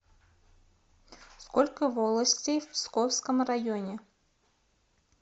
сколько волостей в псковском районе